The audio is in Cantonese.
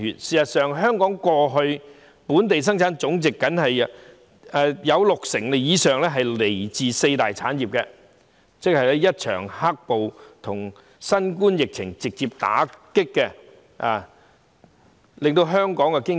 事實上，過去香港的本地生產總值有六成以上來自四大產業，但一場"黑暴"及新冠疫情直接打擊和重創香港經濟。